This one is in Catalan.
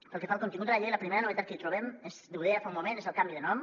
pel que fa al contingut de la llei la primera novetat que hi trobem ho deia fa un moment és el canvi de nom